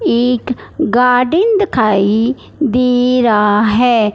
एक गार्डन दिखाइ दे रहा हैं।